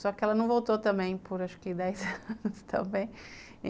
Só que ela não voltou também por acho que dez anos também.